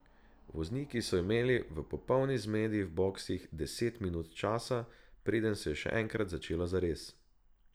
Vozniki so imeli v popolni zmedi v boksih deset minut časa, preden se je še enkrat začelo zares.